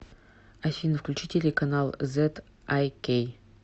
афина включи телеканал зэд ай кей